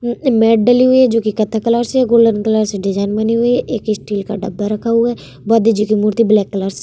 अ medal है जो कि कत्थे कलर से गोल्डन कलर से डिजाइन बनी हुई है एक स्टील का डब्बा रखा हुआ है बहुत जो की मूर्ती ब्लैक कलर से --